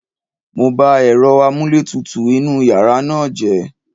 Mo ba èrọ amúlétutù inúu yàrá náà jẹ́.